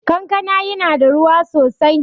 Kankana ya na da ruwa sosai